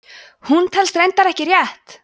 hún telst reyndar ekki rétt!